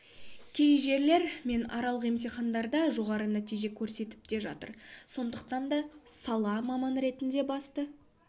кей жерлер мен аралық емтихандарда жоғары нәтиже көрсетіп те жатыр сондықтанда сала маманы ретінде басты